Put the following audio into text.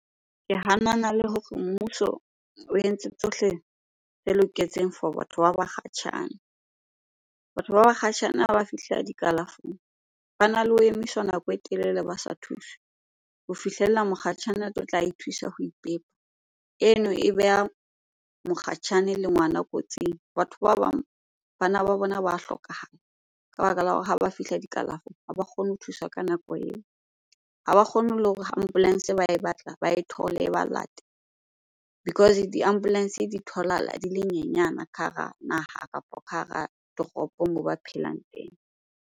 Ke hanana le hore mmuso o entse tsohle tse loketseng for batho ba bakgatjhane. Batho ba bakgatjhane ha ba fihla dikalafong, bana le ho emiswa nako e telele ba sa thuswe ho fihlella mokgatjhane a tlotla ithusa ho ipepa. Eno e beha mokgatjhane le ngwana kotsing. Batho ba bang bana ba bona ba hlokahala ka baka la hore ha ba fihla dikalafong ha ba kgone ho thuswa ka nako eo. Ha ba kgone le hore ha ambulance ba e batla ba e thole, e ba late because di-ambulance di tholahala di le nyenyana ka hara naha kapo ka hara toropo moo ba phelang teng.